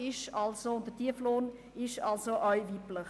Der Tieflohn ist also auch weiblich.